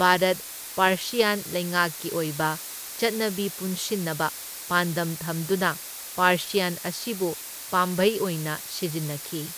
Bharat Persian ꯂꯩꯉꯥꯛꯀꯤ ꯑꯣꯏꯕ ꯆꯠꯅꯕꯤ ꯄꯨꯟꯁꯤꯟꯅꯕ ꯄꯥꯟꯗꯝ ꯊꯝꯗꯨꯅ ꯄꯥꯔꯁꯤꯌꯟ ꯑꯁꯤꯕꯨ ꯄꯥꯝꯕꯩ ꯑꯣꯏꯅ ꯁꯤꯖꯤꯟꯅꯈꯤ꯫